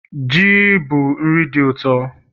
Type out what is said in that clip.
Ji bụ nri dị ụtọ